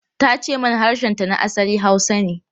Ta ce mana harshenta na asali Hausa ne.